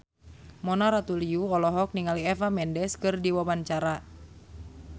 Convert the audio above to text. Mona Ratuliu olohok ningali Eva Mendes keur diwawancara